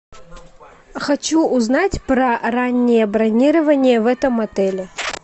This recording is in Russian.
хочу узнать про раннее бронирование в этом отеле